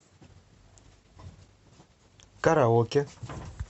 караоке